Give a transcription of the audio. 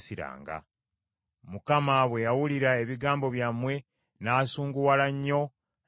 Mukama bwe yawulira ebigambo byammwe n’asunguwala nnyo, n’alayira nti,